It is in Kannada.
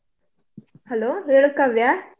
Hello ಹೇಳು ಕಾವ್ಯ.